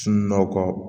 Sunɔgɔ kɔ